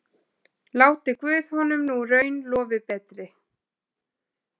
Láti guð honum nú raun lofi betri.